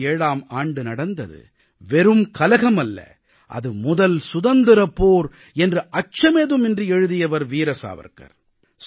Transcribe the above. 1857ஆம் ஆண்டு நடந்தது வெறும் கலகமல்ல அது முதல் சுதந்திரப் போர் என்று அச்சமேதும் இன்றி எழுதியவர் வீர சாவர்க்கார்